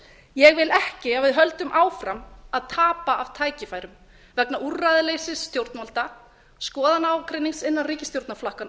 ég vil ekki að við höldum áfram að tapa af tækifærum vegna úrræðaleysis stjórnvalda skoðanaágreinings innan ríkisstjórnarflokkanna